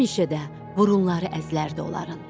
Həmişə də burunları əzlərdi onların.